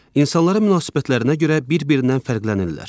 İnsanlara münasibətlərinə görə bir-birindən fərqlənirlər.